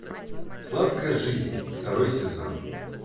сладкая жизнь второй сезон